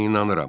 Mən inanıram.